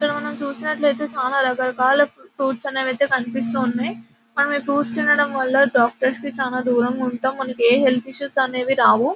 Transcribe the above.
ఇక్కడ మనం చూసినట్టైతే చాల రకరకాల ఫ్రూప్ట్స్ అనేవి ఐతే కనిపిస్తున్నాయి మనము ఈ ఫ్రూప్ట్స్ తినడం వాళ్ళ డాక్టర్లు కి చాలా దూరంగా ఉంటాం మనకి ఆ హెల్త్ ఇస్సుఎస్ కూడా రావు .